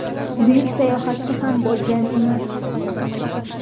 buyuk sayohatchi ham bo‘lgan emas.